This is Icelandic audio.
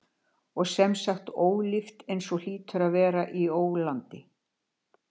. og sem sagt ólíft þar eins og hlýtur að vera í ólandi.